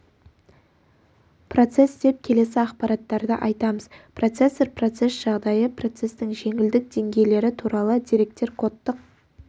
процесс деп келесі ақпараттарды айтамыз процесор процесс жағдайы процестің жеңілдік деңгейлері туралы деректер кодтық